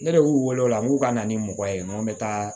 Ne de y'u wele o la n k'u ka na ni mɔgɔ ye n ko n bɛ taa